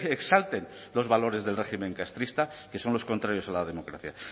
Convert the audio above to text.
exalten los valores del régimen castrista que son los contrarios a la democracia